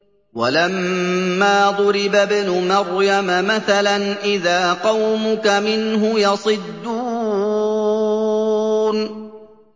۞ وَلَمَّا ضُرِبَ ابْنُ مَرْيَمَ مَثَلًا إِذَا قَوْمُكَ مِنْهُ يَصِدُّونَ